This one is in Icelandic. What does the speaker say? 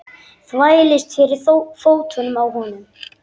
Þvælist fyrir fótunum á honum.